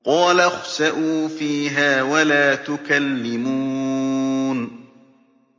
قَالَ اخْسَئُوا فِيهَا وَلَا تُكَلِّمُونِ